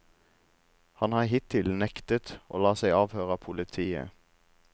Han har hittil nektet å la seg avhøre av politiet.